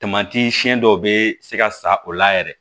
siyɛn dɔw bɛ se ka sa o la yɛrɛ